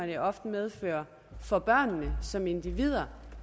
det ofte medfører for børnene som individer